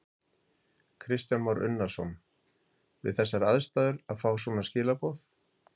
Kristján Már Unnarsson: Við þessar aðstæður að fá svona skilaboð?